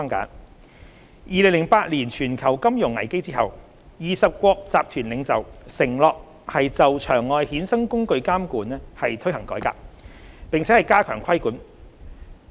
在2008年全球金融危機後 ，20 國集團領袖承諾就場外衍生工具監管推行改革，並加強規管。